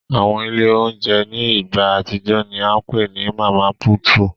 Awọn ile ounjẹ ni igba atijọ ni a ǹ pe ni Mama Puutu